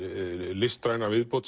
listræna viðbót